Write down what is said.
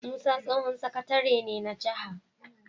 Musa tsohon sakatare ne na jaha